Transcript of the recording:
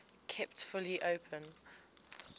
kept fully open